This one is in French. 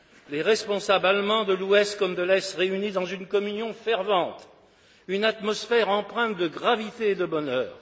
Les responsables allemands de l'Ouest comme de l'Est réunis dans une communion fervente, une atmosphère empreinte de gravité et de bonheur.